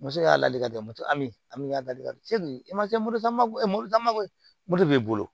Me se k'a ladili kɛ moto min y'a la delili e ma se morizamako ye mori mako de b'i bolo